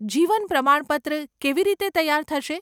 જીવન પ્રમાણપત્ર કેવી રીતે તૈયાર થશે?